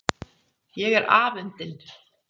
Ég er afundin.